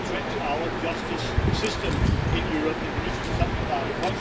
It's a threat to our justice system in Europe and we need to do something about it.